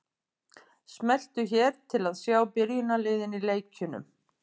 Smelltu hér til að sjá byrjunarliðin í leikjunum.